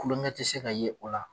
Kulonkɛ tɛ se ka ye o la.